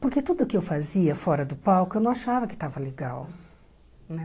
Porque tudo que eu fazia fora do palco, eu não achava que estava legal né.